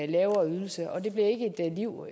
lavere ydelse og det bliver ikke et liv